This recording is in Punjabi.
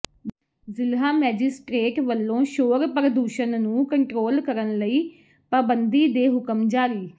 ਜ਼ਿਲ੍ਹਾ ਮੈਜਿਸਟਰੇਟ ਵੱਲੋਂ ਸ਼ੋਰ ਪ੍ਰਦੂਸ਼ਣ ਨੂੰ ਕੰਟਰੋਲ ਕਰਨ ਲਈ ਪਾਬੰਦੀ ਦੇ ਹੁਕਮ ਜਾਰੀ